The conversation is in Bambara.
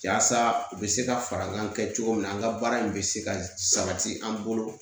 Yaasa u bɛ se ka fara an ka kɛ cogo min na an ka baara in bɛ se ka sabati an bolo